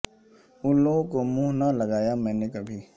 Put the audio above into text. ان لوگوں کو منہ نہ لگایا میں نے کبھی